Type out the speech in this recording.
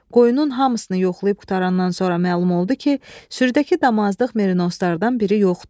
Qoyunun hamısını yoxlayıb qutarandan sonra məlum oldu ki, sürüdəki damazlıq merinoslardan biri yoxdur.